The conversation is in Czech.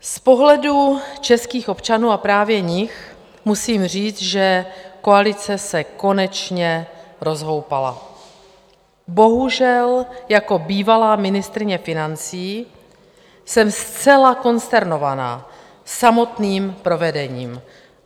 Z pohledu českých občanů, a právě jich, musím říct, že koalice se konečně rozhoupala, bohužel jako bývalá ministryně financí jsem zcela konsternována samotným provedením.